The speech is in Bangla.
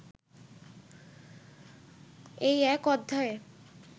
এই এক অধ্যায়ে